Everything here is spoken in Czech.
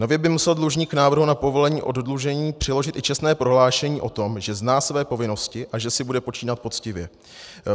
Nově by musel dlužník k návrhu na povolení oddlužení přiložit i čestné prohlášení o tom, že zná své povinnosti a že si bude počínat poctivě.